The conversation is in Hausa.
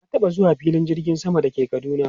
Na taba zuwa filin jirgin sama da ke Kaduna.